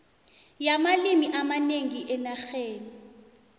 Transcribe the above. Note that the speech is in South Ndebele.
yamalimi amanengi enarheni